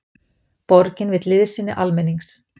Borgin vill liðsinni almennings